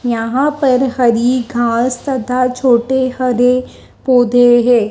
यहां पर हरी घास तथा छोटे हरे पौधे है।